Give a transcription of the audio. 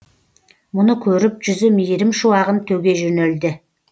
мұны көріп жүзі мейірім шуағын төге жөнелді